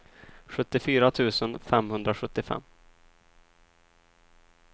sjuttiofyra tusen femhundrasjuttiofem